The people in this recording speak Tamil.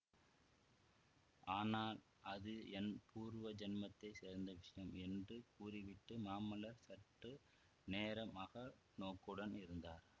ஆனால் அது என் பூர்வ ஜென்மத்தைச் சேர்ந்த விஷயம் என்று கூறிவிட்டு மாமல்லர் சற்று நேரம் அக நோக்குடன் இருந்தார்